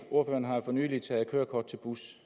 ordføreren har jo for nylig taget kørekort til bus